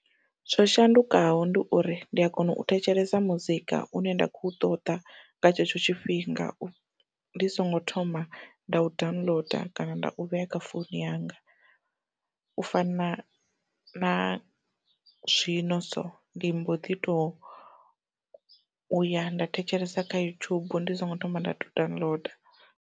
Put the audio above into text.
Zwo shandukaho ndi uri ndi a kona u thetshelesa muzika une nda khou ṱoḓa nga tshetsho tshifhinga, ndi songo thoma nda u downloader kana nda u vhea kha founu yanga, u fana na zwino so ndi mbo ḓi to uya nda thetshelesa kha yutshubu ndi songo thoma nda to downloader.